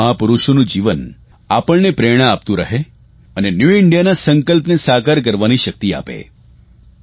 આ તમામ મહાપુરૂષોનું જીવન આપણને પ્રેરણા આપતું રહે અને ન્યુ ઇન્ડિયાના સંકલ્પને સાકાર કરવાની શકિત આપે